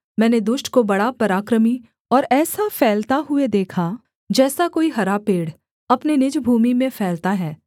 मैंने दुष्ट को बड़ा पराक्रमी और ऐसा फैलता हुए देखा जैसा कोई हरा पेड़ अपने निज भूमि में फैलता है